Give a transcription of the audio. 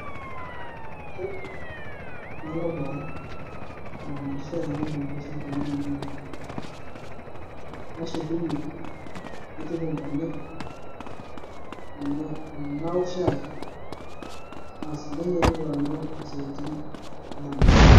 ke, nalo boo aramatisho aingorr inkishu tena kelulunga, nashukunyie naituku nkonyek, naa naok, shai asi nanyiototo alo siatin edama.